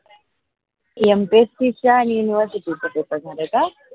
mpsc च्या आणि university paper मध्ये का?